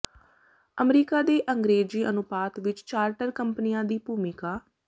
America ਦੇ ਅੰਗਰੇਜੀ ਅਨੁਪਾਤ ਵਿੱਚ ਚਾਰਟਰ ਕੰਪਨੀਆਂ ਦੀ ਭੂਮਿਕਾ